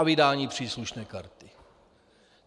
A vydání příslušné karty.